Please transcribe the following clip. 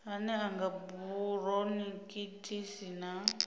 ane a nga buronikhitisi na